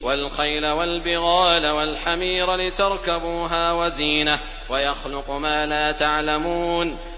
وَالْخَيْلَ وَالْبِغَالَ وَالْحَمِيرَ لِتَرْكَبُوهَا وَزِينَةً ۚ وَيَخْلُقُ مَا لَا تَعْلَمُونَ